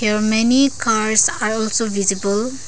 Here many cars are also visible.